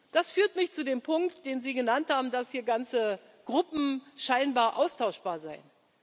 Das führt mich zu dem Punkt, den Sie genannt haben, dass hier ganze Gruppen scheinbar austauschbar seien.